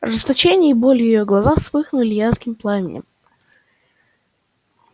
ожесточение и боль в её глазах вспыхнули ярким пламенем